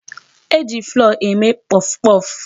E ji flour eme puffpuff.